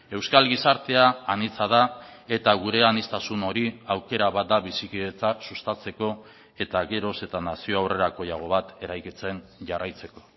euskal gizartea anitza da eta gure aniztasun hori aukera bat da bizikidetza sustatzeko eta geroz eta nazio aurrerakoiago bat eraikitzen jarraitzeko